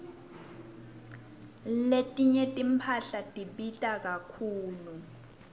letinye timphahla tibita kakhulu